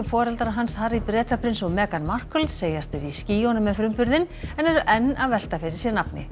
foreldrar hans Harry Bretaprins og Meghan Markle segjast vera í skýjunum með frumburðinn en eru enn að velta fyrir sér nafni